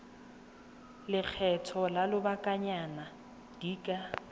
lekgetho la lobakanyana di ka